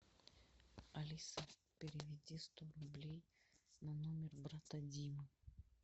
алиса переведи сто рублей на номер брата димы